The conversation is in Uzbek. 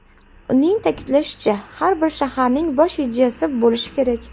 Uning ta’kidlashicha, har bir shaharning bosh rejasi bo‘lishi kerak.